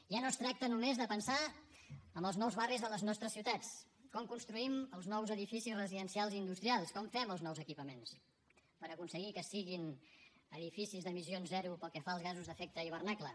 ja no es tracta només de pensar en els nous barris de les nostres ciutats com construïm els nous edificis residencials i industrials com fem els nous equipaments per aconseguir que siguin edificis d’emissions zero pel que fa als gasos d’efecte hivernacle